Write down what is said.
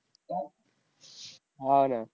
हा ना.